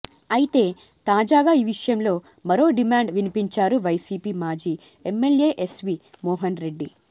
అయితే తాజాగా ఈ విషయంలో మరో డిమాండ్ వినిపించారు వైసీపీ మాజీ ఎమ్మెల్యే ఎస్వీ మోహన్ రెడ్డి